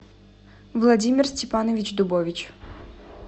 владимир степанович дубович